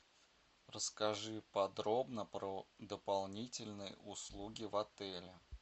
расскажи подробно про дополнительные услуги в отеле